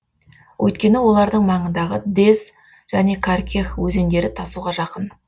өйткені олардың маңындағы дез және каркех өзендері тасуға жақын